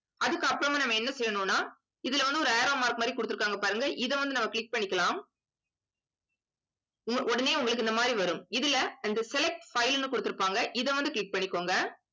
அதுக்கப்புறமா நம்ம என்ன செய்யணும்ன்னா இதுல வந்து ஒரு arrow mark மாதிரி குடுத்திருக்காங்க பாருங்க இதை வந்து நம்ம click பண்ணிக்கலாம் உ~ உடனே உங்களுக்கு இந்த மாதிரி வரும் இதுல அந்த select file ன்னு குடுத்திருப்பாங்க இதை வந்து click பண்ணிக்கோங்க